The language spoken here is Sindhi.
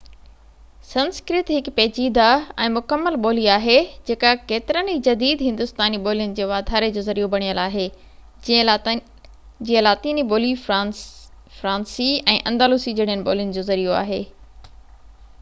سنسڪرت هڪ پيچيده ۽ مڪمل ٻولي آهي جيڪا ڪيترين ئي جديد هندوستاني ٻولين جي واڌاري جو ذريعو بڻيل آهي جيئن لاطيني ٻولي فرانسي ۽ اندلسي جهڙين ٻولين جو ذريعو آهي